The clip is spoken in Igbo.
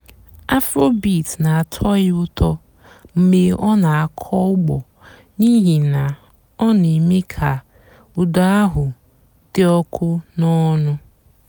afróbeat nà-àtọ́ yá ụ́tọ́ mg̀bé ọ́ nà-àkọ́ ùgbó n'íhì nà ọ́ nà-èmée kà ụ́dà àhú́ dị́ ọ̀kụ́ nà ọ̀ṅụ́.